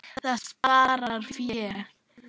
Það sparar fé.